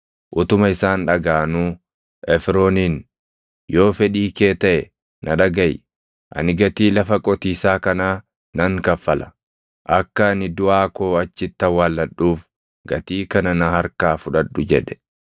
utuma isaan dhagaʼanuu Efrooniin, “Yoo fedhii kee taʼe, na dhagaʼi. Ani gatii lafa qotiisaa kanaa nan kaffala. Akka ani duʼaa koo achitti awwaalladhuuf gatii kana na harkaa fudhadhu” jedhe.